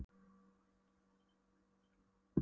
Hún var útsjónarsöm og stappaði í hann stálinu af hugkvæmni.